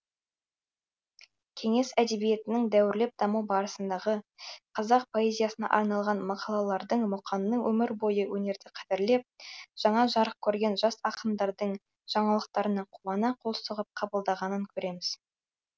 кеңес әдебиетінің дәуірлеп даму барысындағы қазақ поэзиясына арналған мақалалардың мұқаңның өмір бойы өнерді қадірлеп жаңа жарық көрген жас ақындардың жаңалықтарына қуана қол соғып қабылдағанын көреміз